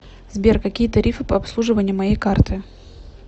сбер какие тарифы по обслуживанию моей карты